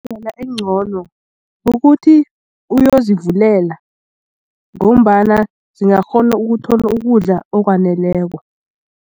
Indlela engcono kukuthi uyozivulela ngombana zingakghona ukuthola ukudla okwaneleko.